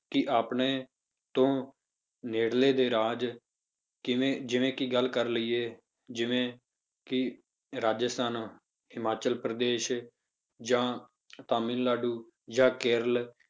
ਕਿ ਆਪਣੇ ਤੋਂ ਨੇੜਲੇ ਦੇ ਰਾਜ ਕਿਵੇਂ ਜਿਵੇਂ ਕਿ ਗੱਲ ਕਰ ਲਈਏ ਜਿਵੇਂ ਕਿ ਰਾਜਸਥਾਨ ਹਿਮਾਚਲ ਪ੍ਰਦੇਸ਼ ਜਾਂ ਤਾਮਿਲਨਾਡੂ ਜਾਂ ਕੇਰਲ